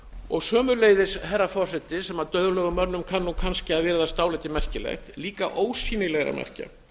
og sömuleiðis herra forseti sem dauðlegum mönnum kann nú kannski að virðast dálítið merkilegt líka ósýnilegra merkja